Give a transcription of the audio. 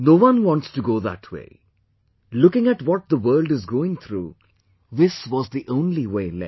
No one wants to go that way; looking at what the world is going through, this was the only way left